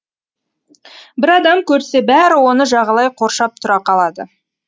бір адам көрсе бәрі оны жағалай қоршап тұра қалады